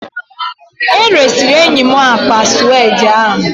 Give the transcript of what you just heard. E resịrị enyi m akpa suede ahụ